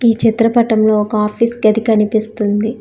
ఈ చిత్రపటంలో ఒక ఆఫీస్ గది కనిపిస్తుంది.